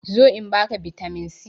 Zo in ba ka bitamin c!